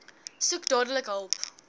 soek dadelik hulp